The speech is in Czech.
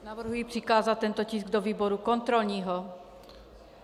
Navrhuji přikázat tento tisk do výboru kontrolního.